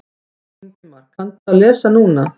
Ingimar: Kanntu að lesa núna?